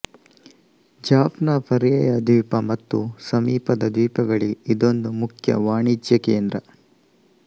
ಜಾಫ್ನ ಪರ್ಯಾಯದ್ವೀಪ ಮತ್ತು ಸಮೀಪದ ದ್ವೀಪಗಳಿಗೆ ಇದೊಂದು ಮುಖ್ಯ ವಾಣಿಜ್ಯ ಕೇಂದ್ರ